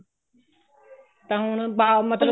ਤਾਂ ਹੁਣ ਬਾ ਮਤਲਬ